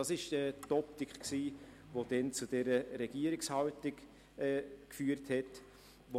Das war die Optik, die damals zu dieser Regierungshaltung geführt hatte.